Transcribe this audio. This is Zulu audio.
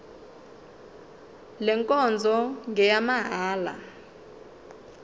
le nkonzo ngeyamahala